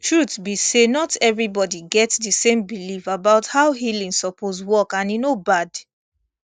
truth be say not everybody get the same belief about how healing suppose work and e no bad